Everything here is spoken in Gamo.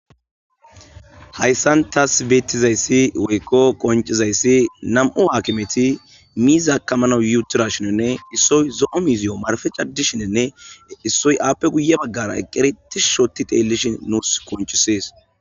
hayssan taas beettizayssi woykko qoncizayssi nam7u haakimeti miizaakamana yutira shinonne issoy zo7o miziyo marfe caddishinenne issoy aappe guye baggara eqqere ti shoti deellishin nuus koncisees